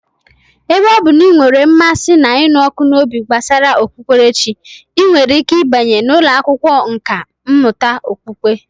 Ebe ọ bụ na ị nwere mmasị na ịnụ ọkụ n'obi gbasara okpukperechi, ị nwere ike ịbanye n'ụlọ akwụkwọ nkà mmụta okpukpe